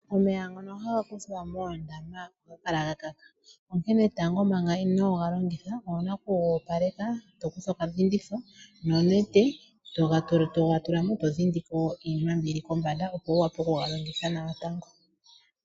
Omeya ngono haga kuthwa moondama oha ga kala gakaka, onkene tango manga inooga longitha owuna okugoopaleka tokutha okadhinditho nonete togatulamo todhindiko iinima mbyoka yilikombanda opo wuvule okugalongitha nawa.